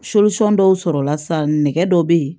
dɔw sɔrɔla sa nɛgɛ dɔ be yen